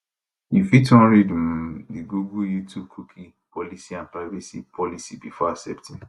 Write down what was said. you fit wan read um di google youtubecookie policyandprivacy policybefore accepting